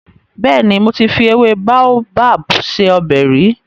Bẹ́ẹ̀ni, mo ti fi ewé Baobab se ọbẹ̀ rí.